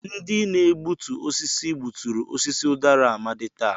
Ndị na-egbutu osisi gbuturu osisi udara Amadi taa.